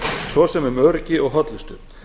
svo sem um öryggi og hollustu